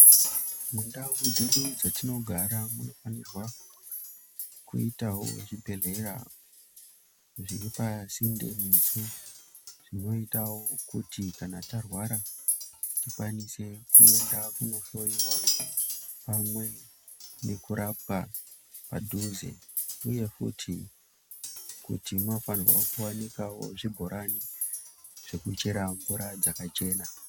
Mandau dzedu dzatinogara munofanira kuitawo zvibhedhlera zviri pasinde nesu zvinoitawo kuti kana tarwara tikwanise kuenda kunohloyiwa pamwe nekurapwa padhuze uye futi kuti munofanirwa kuwanikawo zvibhorani zvekuchera mvura dzakachena.